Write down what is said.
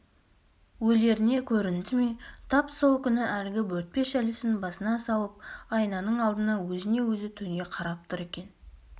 өлеріне көрінді ме тап сол күні әлгі бөртпе шәлісін басына салып айнаның алдында өзіне-өзі төне қарап тұр екен